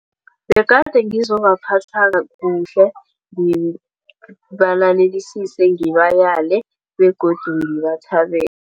Begade ngizobaphatha kuhle ngibayele begodu ngibathabele.